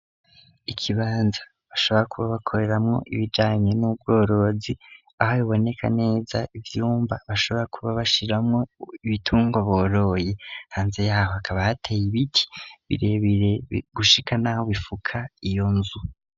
Ikibanza bashobora kuba bakoreramo ibijanye n'ubworozi aho biboneka neza ivyumba bashobora kuba bashiramo ibitungwa boroye kanze yaho akaba hateye ibiti birebere gushika naho bifuka iyo nzu.